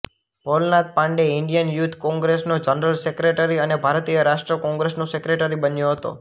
Bholanath Pandey Indian youth કોંગ્રેસનો general secretary અને ભારતીય રાષ્ટ્રીય કોંગ્રેસનો સેક્રેટરી બન્યો હતો